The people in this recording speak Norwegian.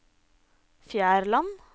Fjærland